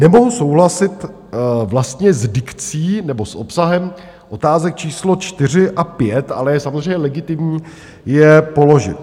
Nemohu souhlasit vlastně s dikcí nebo s obsahem otázek číslo 4 a 5, ale je samozřejmě legitimní je položit.